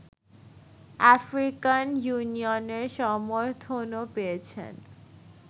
African ইউনিয়নের সমর্থনও পেয়েছেন